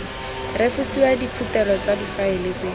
refosiwa diphuthelo tsa difaele tse